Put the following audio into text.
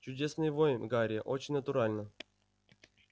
чудесный вой гарри очень натурально